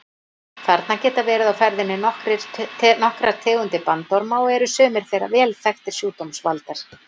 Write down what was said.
Þarna geta verið á ferðinni nokkrar tegundir bandorma og eru sumar þeirra vel þekktir sjúkdómsvaldar.